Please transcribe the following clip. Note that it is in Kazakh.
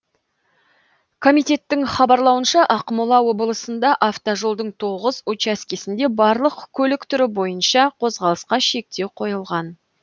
комитеттің хабарлауынша ақмола облысында автожолдың тоғыз учаскесінде барлық көлік түрі бойынша қозғалысқа шектеу қойылған